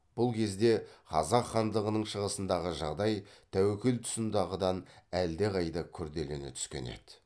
бұл кезде қазақ хандығының шығысындағы жағдай тәуекел тұсындағыдан әлдеқайда күрделене түскен еді